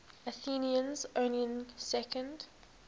athenians owning second